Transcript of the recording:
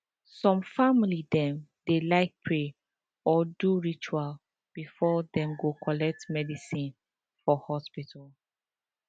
some family dem dey like pray or do ritual before dem go collect medicine for hospital